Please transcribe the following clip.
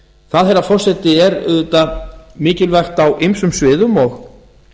það herra forseti er auðvitað mikilvægt á ýmsum sviðum og